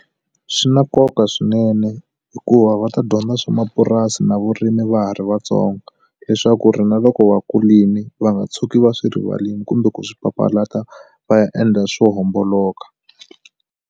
Swi na nkoka swinene hikuva va ta dyondza swa mapurasi na vurimi va ha ri vatsongo leswaku ri na loko vakulini va nga tshuki va swi rivalile kumbe ku swi papalata va ya endla swo homboloka.